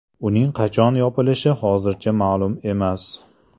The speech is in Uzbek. Uning qachon yopilishi hozircha ma’lum emas.